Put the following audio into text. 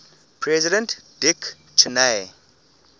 president dick cheney